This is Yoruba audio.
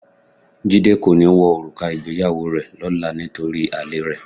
Jídé kò ní wọ òrùka ìgbéyàwó rẹ lọ́la nítorí àlèe rẹ̀.